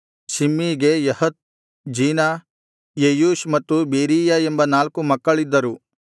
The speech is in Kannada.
ಶಿಮ್ಮೀಗೆ ಯಹತ್ ಜೀನ ಯೆಯೂಷ್ ಮತ್ತು ಬೆರೀಯ ಎಂಬ ನಾಲ್ಕು ಮಕ್ಕಳಿದ್ದರು